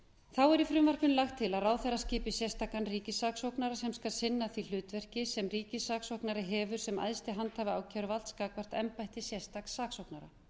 þá er í frumvarpinu lagt til að ráðherra skipi sérstakan ríkissaksóknara sem skal sinna því hlutverki sem ríkissaksóknari hefur sem æðsti handhafi ákæruvalds gagnvart embætti sérstaks saksóknara